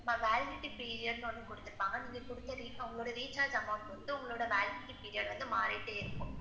Ma'am, validity period ன்னு ஒன்னு குடுத்துருப்பாங்க நீங்க குடுத்த உங்க உங்க recharge amount பொறுத்து உங்களோட validity period வந்து மாறிகிட்டே இருக்கும்.